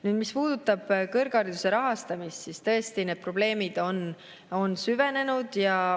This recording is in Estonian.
Nüüd, mis puudutab kõrghariduse rahastamist, siis tõesti, need probleemid on süvenenud.